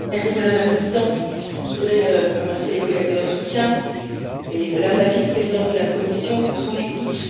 Madame la Présidente, je voudrais remercier les collègues de leur soutien et Madame la Vice présidente de la Commission pour son écoute.